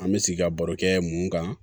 An bɛ sigi ka baro kɛ mun kan